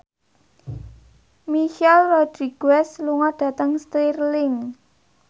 Michelle Rodriguez lunga dhateng Stirling